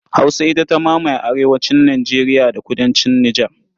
Hausa ita ta mamaye arewacin Nijeriya da kudancin Nijar.